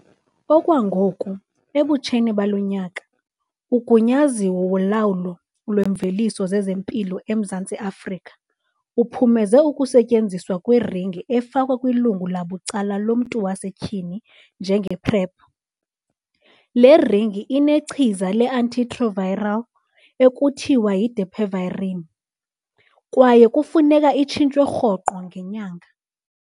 Okwangoku, ebutsheni balo nyaka, uGunyaziwe woLawulo lweeMveliso zezeMpilo eMzantsi Afrika uphumeze ukusetyenziswa kweringi efakwa kwilungu labucala lomntu wasetyhini njenge-PrEP. Le ringi inechiza le-antiretroviral ekuthiwa yi-dapivirine kwaye kufuneka itshintshwe rhoqo ngenyanga.